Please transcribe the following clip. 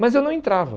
Mas eu não entrava.